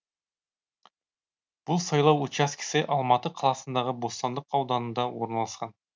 бұл сайлау учаскесі алматы қаласындағы бостандық ауданында орналасқан